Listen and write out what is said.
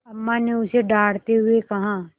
अम्मा ने उसे डाँटते हुए कहा